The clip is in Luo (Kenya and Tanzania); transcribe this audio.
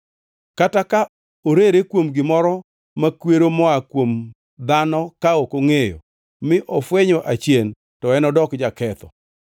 Kata ka orere kuom gimoro makwero moa kuom dhano ka ok ongʼeyo, mi ofwenyo achien, to enodok jaketho.